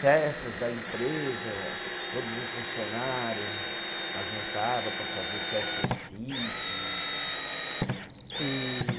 Festas da empresa, todos os funcionário, ajuntava para fazer festa em sítio. E